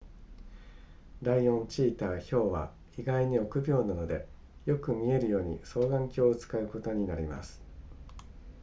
ライオンチーターヒョウは意外に憶病なのでよく見えるように双眼鏡を使うことになります